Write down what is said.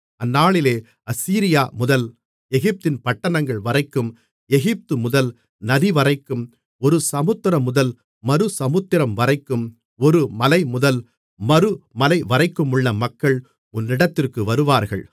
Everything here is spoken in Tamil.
அந்நாளிலே அசீரியா முதல் எகிப்தின் பட்டணங்கள் வரைக்கும் எகிப்து முதல் நதிவரைக்கும் ஒரு சமுத்திரமுதல் மறு சமுத்திரம்வரைக்கும் ஒரு மலைமுதல் மறு மலைவரைக்குமுள்ள மக்கள் உன்னிடத்திற்கு வருவார்கள்